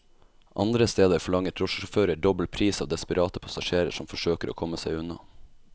Andre steder forlanger drosjesjåfører dobbel pris av desperate passasjerer som forsøker å komme seg unna.